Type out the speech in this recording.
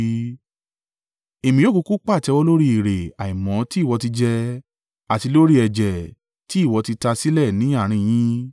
“ ‘Èmi yóò kúkú pàtẹ́wọ́ lórí èrè àìmọ̀ tí ìwọ ti jẹ, àti lórí ẹ̀jẹ̀ tí ìwọ ti ta sílẹ̀ ní àárín yín.